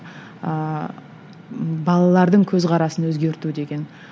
ыыы балалардың көзқарасын өзгерту деген